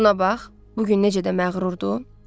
Buna bax, bu gün necə də məğrurdur?